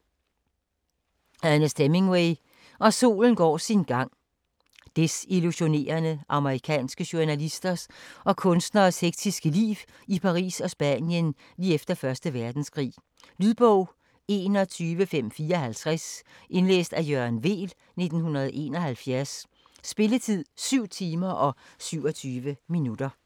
Hemingway, Ernest: Og solen går sin gang Desillusionerede amerikanske journalisters og kunstneres hektiske liv i Paris og Spanien lige efter 1. verdenskrig. Lydbog 21554 Indlæst af Jørgen Weel, 1971. Spilletid: 7 timer, 27 minutter.